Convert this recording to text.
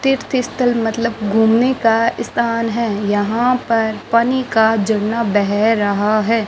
तीर्थ स्थल मतलब घूमने का स्थान है यहां पर पानी का झरना बह रहा है।